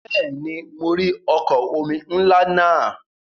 Bẹ́ẹ̀ni, mo rí ọkọ̀ omi ńlá náà.